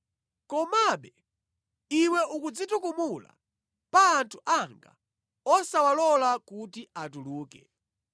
Komabe iwe ukudzitukumula pa anthu anga osawalola kuti atuluke.